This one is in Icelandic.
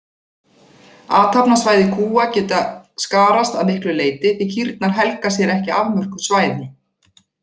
Athafnasvæði kúa geta skarast að miklu leyti því kýrnar helga sér ekki afmörkuð svæði.